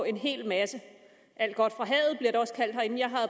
en hel masse alt godt